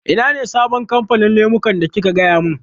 Ina ne sabon kamfanin lemukan da kika gaya min?